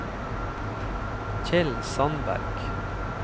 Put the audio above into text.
Kjell Sandberg